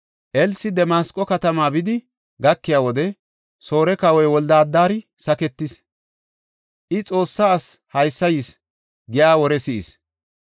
Elsi Damasqo katama bidi gakiya wode, Soore kawoy Wolde-Adari saketees. I, “Xoossaa asi haysa yis” giya wore si7is.